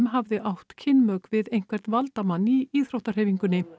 hafði átt kynmök við einhvern valdamann í íþróttahreyfingunni